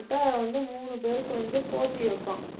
வந்து மூணு பேருக்கு வந்து போட்டி வைப்பான்.